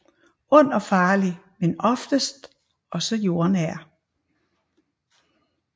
Ond og farlig men oftest også jordnær